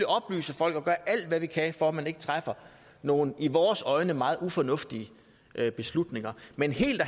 oplyse folk og gøre alt hvad vi kan for at man ikke træffer nogen i vores øjne meget ufornuftige beslutninger men helt